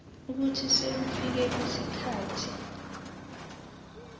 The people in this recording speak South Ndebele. ukuthi sekufike isikhathi